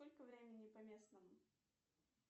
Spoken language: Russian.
сколько времени по местному